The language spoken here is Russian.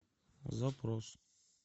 запрос